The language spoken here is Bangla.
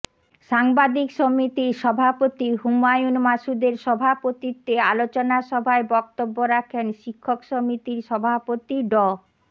সাংবাদিক সমিতির সভাপতি হুমায়ুন মাসুদের সভাপতিত্বে আলোচনা সভায় বক্তব্য রাখেন শিক্ষক সমিতির সভাপতি ড